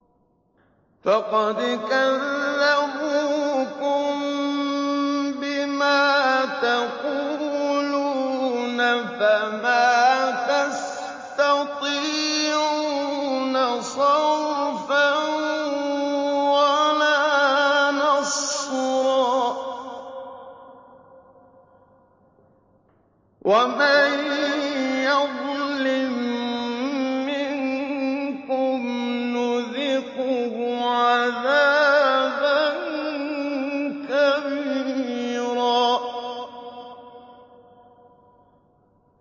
فَقَدْ كَذَّبُوكُم بِمَا تَقُولُونَ فَمَا تَسْتَطِيعُونَ صَرْفًا وَلَا نَصْرًا ۚ وَمَن يَظْلِم مِّنكُمْ نُذِقْهُ عَذَابًا كَبِيرًا